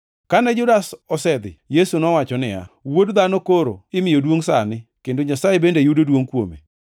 Kane Judas osedhi, Yesu nowacho niya, “Wuod Dhano koro imiyo duongʼ sani kendo Nyasaye bende yudo duongʼ kuome.